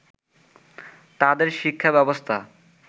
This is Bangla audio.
তাদের শিক্ষা ব্যবস্থা